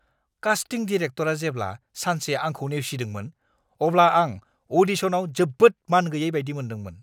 कास्टिं डिरेक्टरआ जेब्ला सानसे आंखौ नेवसिदोंमोन, अब्ला आं अ'डिशनाव जोबोद मानगैयै बायदि मोनदोंमोन!